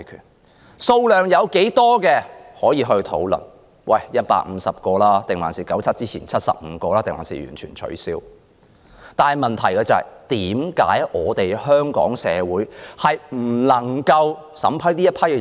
每天的單程證名額多少是可以討論的，例如應是150個、在1997年之前的75個，還是完全取消；但問題是，為何香港政府不能審批這些申請人？